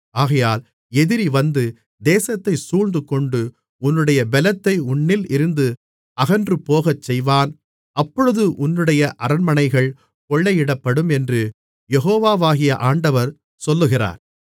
ஆகையால் எதிரி வந்து தேசத்தைச் சூழ்ந்துகொண்டு உன்னுடைய பெலத்தை உன்னிலிருந்து அகன்றுபோகச் செய்வான் அப்பொழுது உன்னுடைய அரண்மனைகள் கொள்ளையிடப்படும் என்று யெகோவாகிய ஆண்டவர் சொல்லுகிறார்